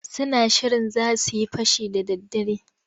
Suna shirin za su yi fashi da daddare.